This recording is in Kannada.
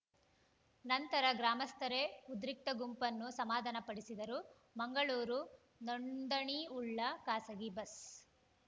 ನಂತರ ಗ್ರಾಮಸ್ಥರೇ ಉದ್ರಿಕ್ತ ಗುಂಪನ್ನು ಸಮಾಧಾನ ಪಡಿಸಿದರು ಮಂಗಳೂರು ನೋಂದಣಿವುಳ್ಳ ಖಾಸಗಿ ಬಸ್‌